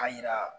A yira